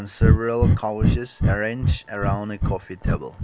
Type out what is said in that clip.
several covers arrange around a coffee table.